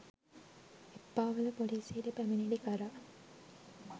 එප්පාවල පොලිසියට පැමිණිලි කළා